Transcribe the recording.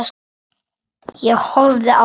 Ég horfði á hana.